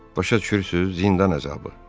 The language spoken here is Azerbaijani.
Başa düşürsüz, zindan əzabı?